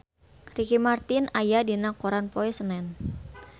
Ricky Martin aya dina koran poe Senen